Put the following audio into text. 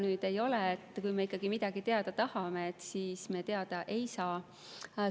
Seda ei ole, et kui me midagi teada tahame, et me seda siis teada ei saa.